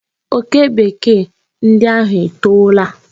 Oke Bekee ndi ahụ etoola.